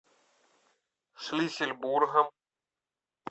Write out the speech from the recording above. шлиссельбургом